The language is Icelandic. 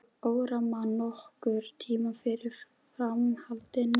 Órar mann nokkurn tímann fyrir framhaldinu.